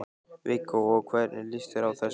Viggó: Og hvernig líst þér á þessi herlegheit?